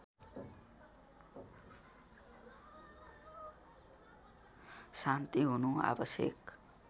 शान्ति हुनु आवश्यक